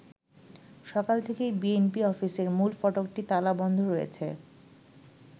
সকাল থেকেই বিএনপি অফিসের মূল ফটকটি তালা বন্ধ রয়েছে।